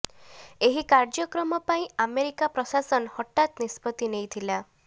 ଏହି କାର୍ଯ୍ୟକ୍ରମ ପାଇଁ ଆମେରିକା ପ୍ରଶାସନ ହଠାତ୍ ନିଷ୍ପତ୍ତି ନେଇଥିଲା